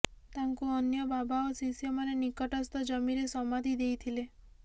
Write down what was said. ତାଙ୍କୁ ଅନ୍ୟ ବାବା ଓ ଶିଷ୍ୟମାନେ ନିକଟସ୍ଥ ଜମିରେ ସମାଧି ଦେଇଥିଲେ